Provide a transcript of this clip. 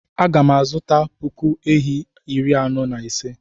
Aga m azụta puku ehi iri anọ na ise.